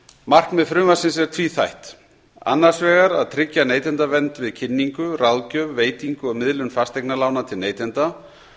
markmið frumvarpsins er tvíþætt annars vegar að tryggja neytendavernd við kynningu ráðgjöf veitingu og miðlun fasteignalána til neytenda